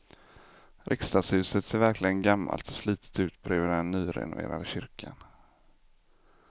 Riksdagshuset ser verkligen gammalt och slitet ut bredvid den nyrenoverade kyrkan.